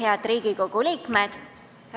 Head Riigikogu liikmed!